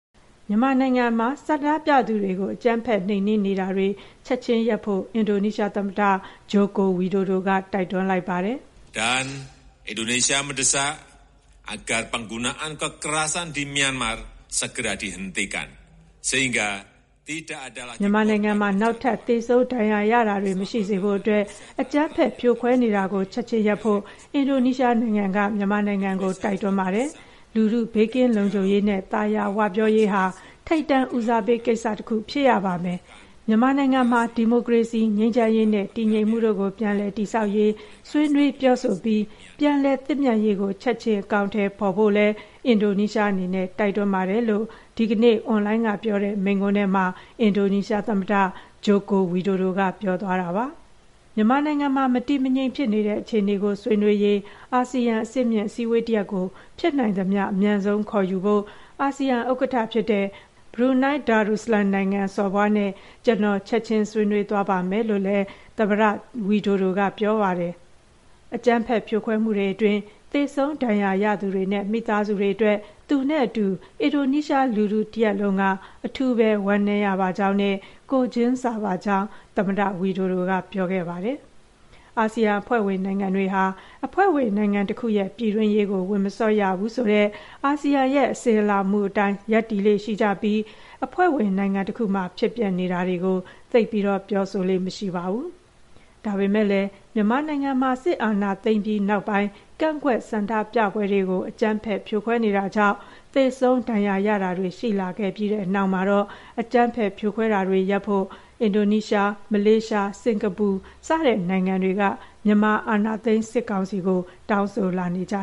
မြန်မာနိုင်ငံမှာ အကြမ်းဖက်နှိမ်နင်းတာကို ချက်ခြင်းရပ်ဖို့ အင်ဒိုနီးရှားသမ္မတ ဂျိုကို ဝီဒိုဒိုက တိုက်တွန်းလိုက်ပါတယ်။ " မြန်မာနိုင်ငံမှာ နောက်ထပ် သေဆုံးဒဏ်ရာရတာတွေ မရှိစေဖို့အတွက် အကြမ်းဖက်ဖြိုခွဲတာကို ချက်ခြင်းရပ်ဖို့ အင်ဒိုနီးရှားနိုင်ငံက မြန်မာနိုင်ငံကို တိုက်တွန်းပါတယ်။ လူထု ဘေးကင်းလုံခြုံရေးနဲ့ သာယာဝပြောရေးဟာ ထိပ်တန်းဦးစားကိစ္စ တစ်ခုဖြစ်ရပါမယ်။ မြန်မာနိုင်ငံမှာ ဒီမိုကရေစီ၊ ငြိမ်းချမ်းရေးနဲ့ တည်ငြိမ်မှုတို့ကို ပြန်လည်တည်ဆောက်ရေး ဆွေးနွေးပြောဆိုပြီး ပြန်လည်သင့်မြတ်ရေးကို ချက်ခြင်း အကောင်အထည်ဖော်ဖို့လည်း အင်ဒိုနီးရှားအနေနဲ့ တိုက်တွန်းပါတယ်" လို့ ဒီကနေ့ အွန်လိုင်းကပြောတဲ့ မိန့်ခွန်းထဲမှာ အင်ဒိုနီးရှားသမ္မတ ဂျိုကို ဝီဒိုဒိုက ပြောသွားတာပါ။ မြန်မာနိုင်ငံမှာ မတည်မငြိမ်ဖြစ်နေတဲ့အခြေအနေကို ဆွေးနွေးရေး အာဆီယံ အဆင့်မြင့်အစည်းအဝေးတရပ်ကို ဖြစ်နိုင်သမျှအမြန်ဆုံးခေါ်ယူဖို့ အာဆီယံဥက္ကဋ္ဌဖြစ်တဲ့ ဘရူနိုင်း ဒါရူဆလမ်နိုင်ငံ စော်ဘွားနဲ့ ကျနော် ချက်ခြင်းဆွေးနွေးသွားပါမယ်လို့လည်း သမ္မတဝီဒိုဒိုက ပြောပါတယ်။ အကြမ်းဖက် ဖြိုခွဲမှုတွေအတွင်း သေဆုံးဒဏ်ရာရသူတွေနဲ့ မိသားစုတွေအတွက် သူနဲ့အတူ အင်ဒိုနီးရှားလူထုတရပ်လုံးက အထူးပဲ ဝမ်းနည်းရပါကြောင်းနဲ့ ကိုယ်ချင်းစာပါကြောင်းလည်း သမ္မတဝီဒိုဒိုကပြောပါတယ်။ အာဆီယံအဖွဲ့ဝင်နိုင်ငံတွေဟာ အဖွဲ့ဝင်နိုင်ငံတခုရဲ့ ပြည်တွင်းရေးကို ဝင်မစွက်ရဘူးဆိုတဲ့ အာဆီယံရဲ့ အစဉ်အလာမူအတိုင်း ရပ်တည်ကြလေ့ရှိပြီး အဖွဲ့ဝင်နိုင်ငံတစ်ခုမှာ ဖြစ်ပျက်နေတာကို သိပ်ပြောဆိုလေ့မရှိပါဘူး။ ဒါပေမယ့်လည်း မြန်မာနိုင်ငံမှာ စစ်အာဏာသိမ်းပြီးနောက်ပိုင်း ကန့်ကွက်ဆန္ဒပြပွဲတွေကို အကြမ်းဖက် ဖြိုခွဲတာကြောင့် သေဆုံး ဒဏ်ရာရတာတွေ ရှိလာပြီးတဲ့နောက်မှာတော့ အကြမ်းဖက်ဖြိုခွဲတာတွေရပ်ဖို့ အင်ဒိုနီးရှား၊ မလေးရှား၊ စင်္ကာပူ စတဲ့နိုင်ငံတွေက မြန်မာ အာဏာသိမ်း စစ်ကောင်စီကို တောင်းဆိုလာကြ